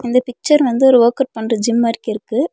இந்த பிக்சர் வந்து ஒரு வொர்க் அவுட் பண்ற ஜிம் மார்க்கிருக்கு.